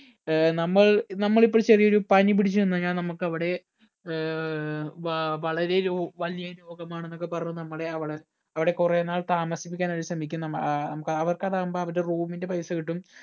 ഏർ നമ്മൾ നമ്മൾ ഇപ്പോ ചെറിയ ഒരു പനി പിടിച്ചു ചെന്നഴിഞ്ഞ നമ്മക്ക് അവിടെ ഏർ വ വളരെ രോ വലിയ രോഗമാണെന്നൊക്കെ പറഞ് നമ്മടെ അവിടെ അവിടെ കൊറേ നാൾ താമസിപ്പിക്കാൻ അവർ ശ്രമിക്കും നമ്മ ഏർ ഉം അവർക്കാതാകുമ്പോ അവരുടെ room ന്റെ പൈസ കിട്ടും